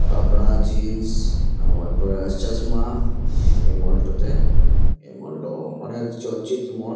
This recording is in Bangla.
কাপড়া জিন্স তারপর চাশমা এই মলটোতে এই মলটো অনেক চর্চিত মল ।